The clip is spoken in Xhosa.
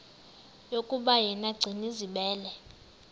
yokuba yena gcinizibele